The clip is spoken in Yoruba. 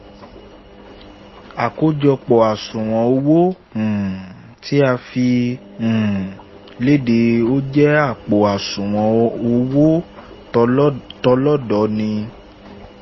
àkójọpọ̀ àṣùwọ̀n owó um tí a fi um léde ó jẹ́ àpò àṣùwọ̀n owó tọlọ́dọọni